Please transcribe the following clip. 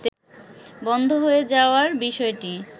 বন্ধ হয়ে যাওয়ার বিষয়টি